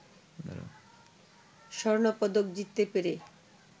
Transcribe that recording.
স্বর্ণপদক জিততে পেরে